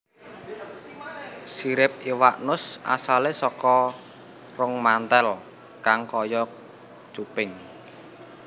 Sirip iwak nus asalé saka rong mantel kang kaya cuping